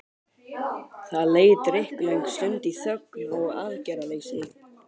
Það leið drykklöng stund í þögn og aðgerðaleysi.